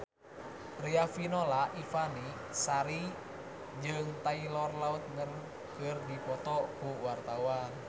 Riafinola Ifani Sari jeung Taylor Lautner keur dipoto ku wartawan